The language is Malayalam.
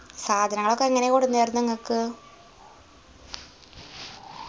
സാധനങ്ങളൊക്കെ എങ്ങനെ കൊടന്നേർന്നേ ഇങ്ങക്ക്